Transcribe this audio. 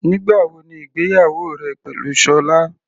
Nígbà wo ni ìgbéyàwó rẹ pẹ̀lú Sola?